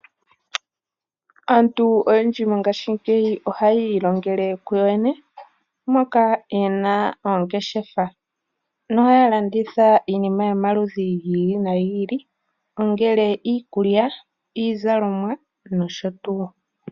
Aantu oyendji mongaashingeyi ohaa ilongele kuyo yene na oye na oongeshefa haa landitha iinima yomaludhi gi ili no gi ili ngaashi iikulya, iizalomwa nosho tuu.